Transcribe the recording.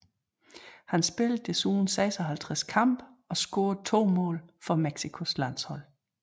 Han spillede desuden 56 kampe og scorede to mål for Mexicos landshold